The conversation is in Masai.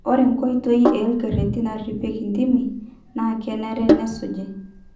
ore nkoitoii e orkereti naripieki intimi naa kenare nesuji